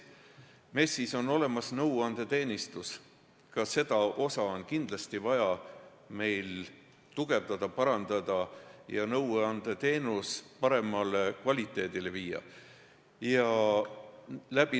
MES-is on olemas nõuandeteenistus, ka seda tööd on kindlasti vaja tugevdada, nõuandeteenuse parem kvaliteet saavutada.